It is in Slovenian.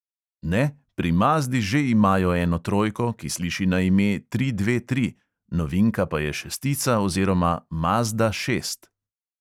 Ne, pri mazdi že imajo eno trojko, ki sliši na ime tri dve tri, novinka pa je šestica oziroma mazda šest.